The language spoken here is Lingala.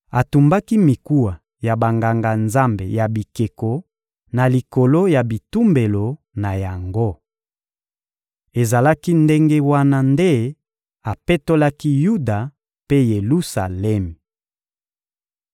Atumbaki mikuwa ya banganga-nzambe ya bikeko na likolo ya bitumbelo na yango. Ezalaki ndenge wana nde apetolaki Yuda mpe Yelusalemi.